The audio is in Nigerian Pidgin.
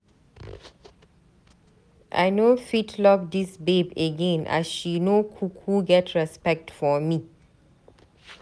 I no fit love dis babe again as she no kuku get respect for me.